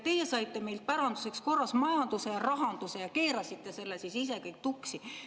Teie saite meilt päranduseks korras majanduse ja rahanduse, aga keerasite selle ise kõik tuksi.